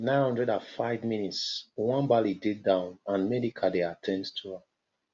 Nine hundred and five mins nwabali dey down and medical dey at ten d to am